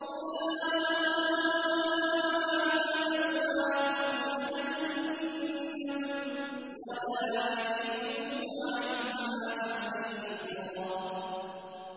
أُولَٰئِكَ مَأْوَاهُمْ جَهَنَّمُ وَلَا يَجِدُونَ عَنْهَا مَحِيصًا